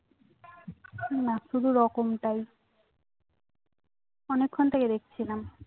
না শুধু রকম টাই অনেক্ষন থেকে দেখছিলাম